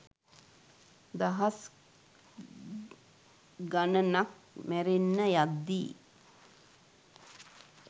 දහස් ගණනක් මැරෙන්න යද්දී